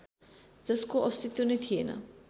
जसको अस्तित्व नै थिएन